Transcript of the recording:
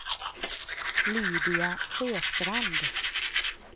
Lydia Sjöstrand